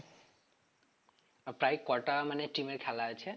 প্রায় কটা মানে team এর খেলা আছে?